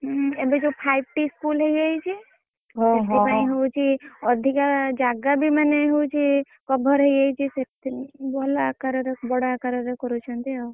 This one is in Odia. ହୁଁ ଏବେ ସବୁ Five T school ହେଇଯାଇଛି ସେଥିପାଇଁ ହଉଛି ଅଧିକା ଜାଗାବି ମାନେ cover ହେଇଯାଇଛି ଅକାରରେ ବଡ ଆକାରରେ କରୁଛନ୍ତି ଆଉ।